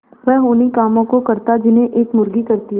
वह उन्ही कामों को करता जिन्हें एक मुर्गी करती है